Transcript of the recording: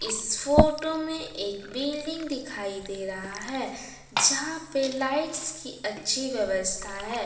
इस फोटो में एक बिल्डिंग दिखाई दे रहा है जहाँ पे लाइट्स की अच्छी व्यवस्था है।